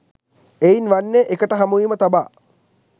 එයින් වන්නේ එකට හමුවීම තබා